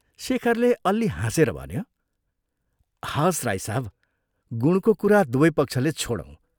शेखरले अल्लि हाँसेर भन्यो, " हवस्, राई साहब, गुणको कुरा दुवै पक्षले छोडौँ।